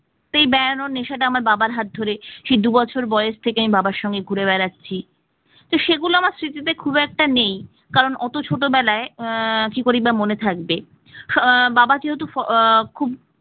এই বেড়ানোর নেশাটা আমার বাবার হাত ধরে সেই দু'বছর বয়স থেকে আমি বাবার সঙ্গে ঘুরে বেড়াচ্ছি তো সেগুলো আমার স্মৃতিতে খুব একটা নেই কারণ অত ছোটবেলায় আহ কি করেই বা মনে থাকবে আহ বাবা যেহেতু আহ খুব